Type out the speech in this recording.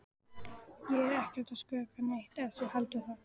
Ég er ekkert að skrökva neitt ef þú heldur það.